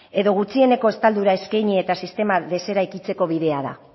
edo gutxieneko estaldura eskaini eta sistema deseraikitzeko bidea da